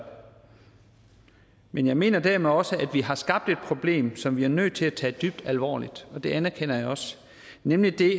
men jeg mener dermed også at vi har skabt et problem som vi er nødt til at tage dybt alvorligt og det anerkender jeg også nemlig det